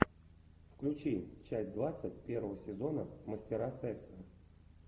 включи часть двадцать первого сезона мастера секса